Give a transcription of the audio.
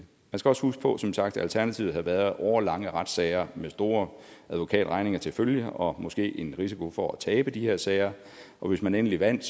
skal også huske på som sagt at alternativet havde været årelange retssager med store advokatregninger til følge og måske en risiko for at tabe de her sager og hvis man endelig vandt